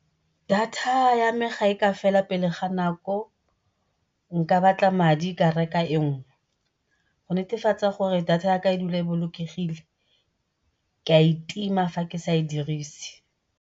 Data ya me fa e ka fela pele ga nako, nka batla madi ka reka e nngwe. Go netefatsa gore data ya ka e dula e bolokegile ke a e tima fa ke sa e dirise.